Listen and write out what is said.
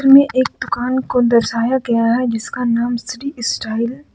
ये एक दुकान को दर्शाया गया है जिसका नाम श्री स्टाईल ।